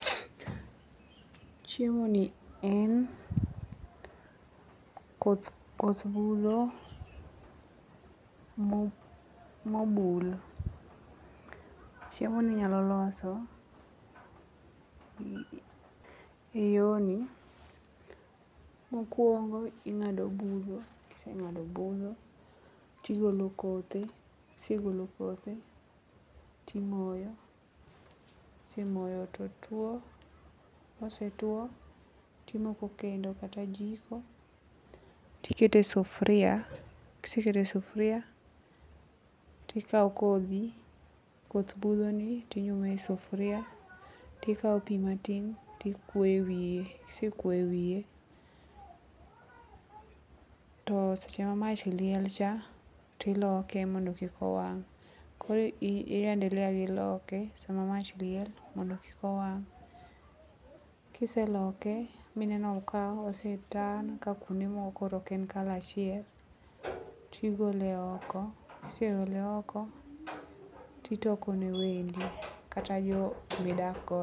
Chiemoni en koth budho mobul. Chiemoni inyalo loso e yoni. Mokwongo ing'ado budho kiseng'ado budgo tigolo kothe kisegolo kothe timoyo. Kisemoyo to two kosetwo timoko kendo kata jiko tikete sufria kisekete sufria tikawo kodhi, koth budhoni tinyume i sufria tikawo pi matin tikwoyo e wiye kisekwoyo e wiye to seche ma mach liel cha, tiloke mondo kik owang' koro i endelea gi loke sama mach liel mondo kik owang'. Kiseloke mineno ka ose turn ka kuonde moko koro ok en kala achiel, tigole oko kisegole oko titoko ne wendi kata jok midakgo.